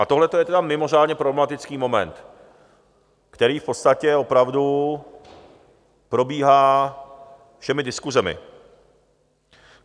A tohle je tedy mimořádně problematický moment, který v podstatě opravdu probíhá všemi diskusemi.